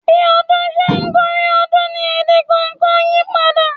Bí ọdún ṣe ń gorí ọdún ni èdè kọ̀ọ̀kan yípadà.